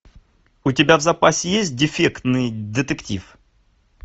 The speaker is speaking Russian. у тебя в запасе есть дефектный детектив